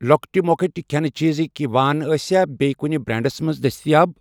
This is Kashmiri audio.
لۄکٕٹؠ مۄکٕٹؠ کھٮ۪نہٕ چیٖزٕکؠ وان آسیا بییٚہِ کُنہِ بریٚنڑَس مَنٛز دٔستِیاب؟